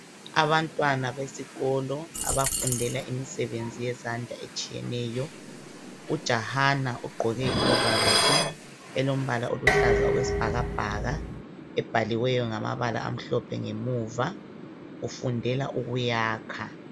Abantwana besikolo, abafundela imisebenzi yezandla etshiyeneyo. Ujahana ogqoke ihovarosi, elombala oluhlaza okwesibhakabhaka. Ebhaliweyo ngamabala amhlophe ngemuva, ufundela ukuyakha.